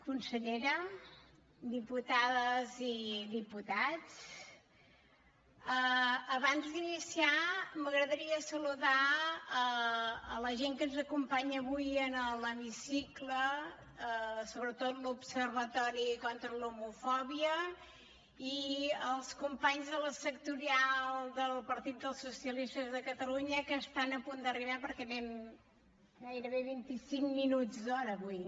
consellera diputades i diputats abans d’iniciar m’agradaria saludar la gent que ens acompanya avui en l’hemicicle sobretot l’observatori contra l’homofòbia i els companys de la sectorial del partit dels socialistes de catalunya que estan a punt d’arribar perquè anem gairebé vint i cinc minuts d’hora avui